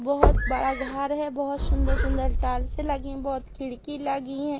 बहोत बड़ा घर है बहोत सुंदर सुंदर टाइल्से लगी है बहोत खिड़की लगी हैं।